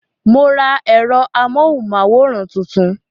Mo ra èrò amóhùn máwòrán tuntun